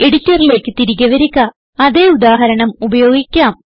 എഡിറ്ററിലേക്ക് തിരികെ വരിക അതേ ഉദാഹരണം ഉപയോഗിക്കാം